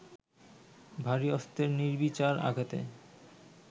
ভারী অস্ত্রের নির্বিচার আঘাতে